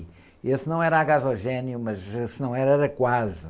Esse não era a gasogênio, mas se não era, era quase.